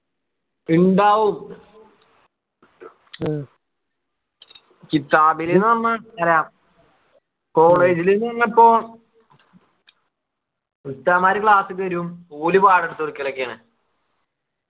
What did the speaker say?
ഇണ്ടാവും ലു നമ്മ രാ college ലു വന്നപ്പോ ഉസ്താദുമാര് class ക്ക് വരും ഓല് പാഠം എടുത്തു കൊടുക്കലൊക്കെയാണ്